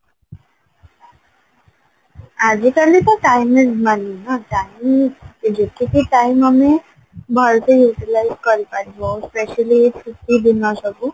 ଆଜିକାଲି ତ timing ନାହିଁ ନା timing ଯେତେ ବେ time ଆମେ ଭଲସେ Utilize କରିପାରିବ specially ଛୁଟି ଦିନ ସବୁ